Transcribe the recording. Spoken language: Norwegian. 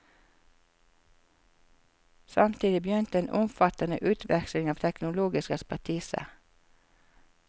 Samtidig begynte en omfattende utveksling av teknologisk ekspertise.